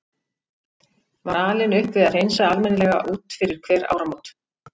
Var alin upp við að hreinsa almennilega út fyrir hver áramót.